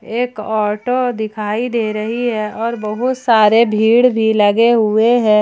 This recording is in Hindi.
एक ऑटो दिखाई दे रही है और बहोत सारे भीड़ भी लगे हुए हैं।